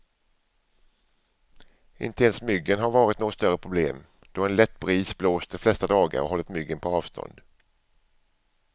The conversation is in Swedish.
Inte ens myggen har varit något större problem, då en lätt bris blåst de flesta dagar och hållit myggen på avstånd.